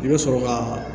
I bɛ sɔrɔ ka